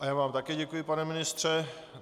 A já vám také děkuji, pane ministře.